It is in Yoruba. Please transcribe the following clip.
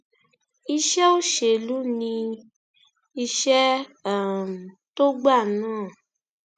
iṣẹ òṣèlú ni iṣẹ um tó gbà náà